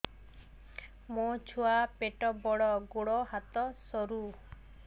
ମୋ ଛୁଆ ପେଟ ବଡ଼ ଗୋଡ଼ ହାତ ସରୁ